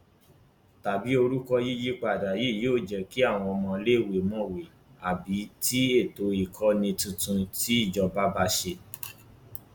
tàbí orúkọ yíyípadà ni yóò jẹ kí àwọn ọmọọléèwé mọwé ni àbí tí ètò ìkọni tuntun tí ìjọba bá ṣe